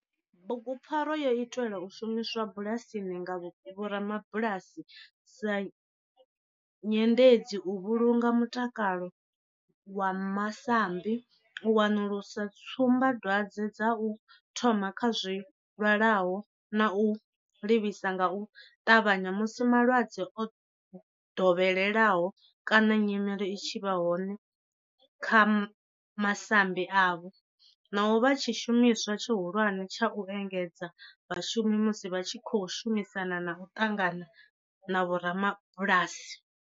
Bugupfarwa yo itelwa u shumiswa bulasini nga vhorabulasi sa nyendedzi u vhulunga mutakalo wa masambi, u wanulusa tsumbadwadzwe dza u thoma kha zwilwalaho na u livhisa nga u ṱavhanya musi malwadze o dovheleaho kana nyimele i tshi vha hone kha masambi avho, na u vha tshishumiswa tshihulwane tsha u engedzedza vhashumi musi vha tshi khou shumisana na u ṱangana na vhoramabulasi.